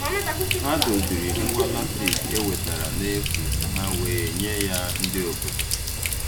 Ha doziri ngwa latrik e wetara n'efu ka ha wee nye ya ndị obodo